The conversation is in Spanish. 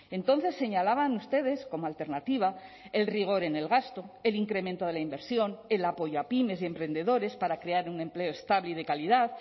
entonces señalaban ustedes como alternativa el rigor en el gasto el incremento de la inversión el apoyo a pymes y emprendedores para crear un empleo estable y de calidad